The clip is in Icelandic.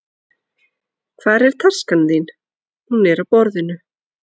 Hvar er taskan þín? Hún er á borðinu.